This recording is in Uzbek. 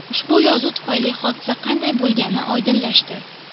Ushbu yozuv tufayli hodisa qanday bo‘lgani oydinlashdi.